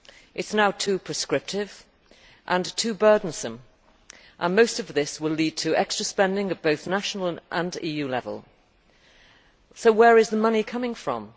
It is now too prescriptive and too burdensome, and most of this will lead to extra spending at both national and EU level. Where is the money coming from?